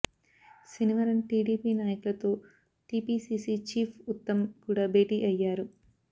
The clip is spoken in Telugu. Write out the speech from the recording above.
శనివారం టీడీపీ నాయకులతో టీపీసీసీ చీఫ్ ఉత్తమ్ కూడా బేటీ అయ్యారు